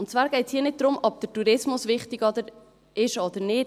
Und zwar geht es hier nicht darum, ob der Tourismus wichtig ist oder nicht.